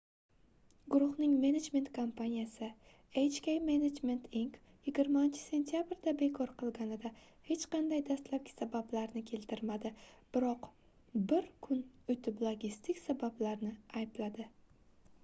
guruhning menejment kompaniyasi hk management inc 20-sentabrda bekor qilganida hech qanday dastlabki sabablarni keltirmadi biroq bir kun oʻtib logistik sabablarni aybladi